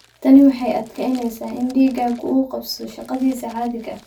Tani waxay adkeyneysaa in dhiiggu uu qabsado shaqadiisa caadiga ah.